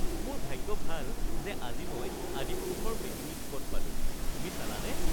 মোৰ ভাগ্য ভাল যে আজি মই "আদিপুৰুষ"ৰ মেটিনী টিকট পালোঁ। তুমি চালানে?